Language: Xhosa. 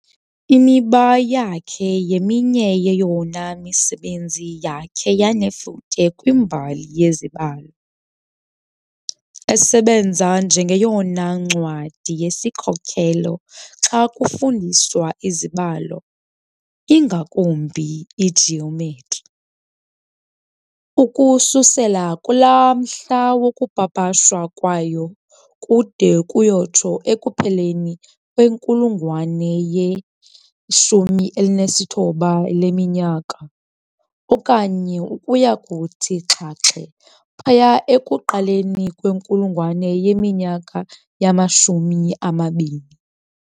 "Imiba" yakhe yeminye yeyona misebenzi yakhe yanefuthe kwimbali yezibalo, esebenza njengeyona ncwadi yesikhokhelo xa kufundiswa izibalo, ingakumbi igeometry, ukususela kulaa mhla wokupapashwa kwayo kude kuyotsho ekupheleni kwenkulungwane ye-19 leminyaka okanye ukuya kuthi xhaxhe phaya ekuqaleni kwenkulungwane yeminyaka yama-20.